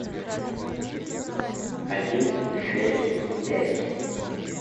один шесть пять